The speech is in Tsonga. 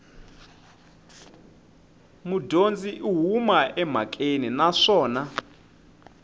mudyondzi u huma emhakeni naswona